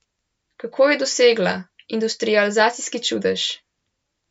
Kako je dosegla industrializacijski čudež?